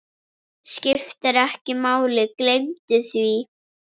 Skiptir ekki máli, gleymdu því.